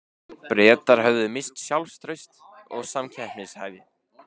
Bretar höfðu misst sjálfstraust og samkeppnishæfni.